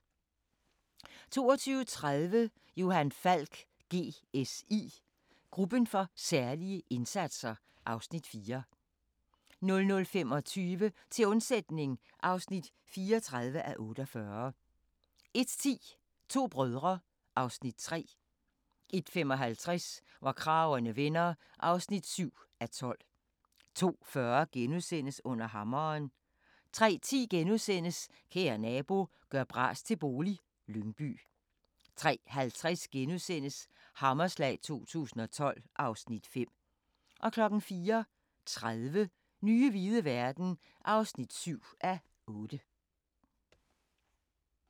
22:30: Johan Falk: GSI – Gruppen for særlige indsatser (Afs. 4) 00:25: Til undsætning (34:48) 01:10: To brødre (Afs. 3) 01:55: Hvor kragerne vender (7:12) 02:40: Under hammeren * 03:10: Kære nabo – gør bras til bolig - Lyngby * 03:50: Hammerslag 2012 (Afs. 5)* 04:30: Nye hvide verden (7:8)